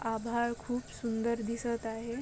आभाळ खूप सुंदर दिसत आहे.